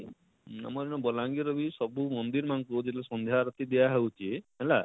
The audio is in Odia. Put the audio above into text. ଆମର ଇନର ବଲାଙ୍ଗୀର ରେ ବି ସବୁନ ମନ୍ଦିର ମାନକୁ ଯେନ ସାନ୍ଧ୍ୟ ଆଳତି ଦିଆ ହଉଛି ହେଲା,